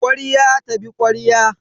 Kwarya ta bi kwarya